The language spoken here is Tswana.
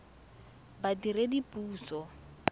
badiredipuso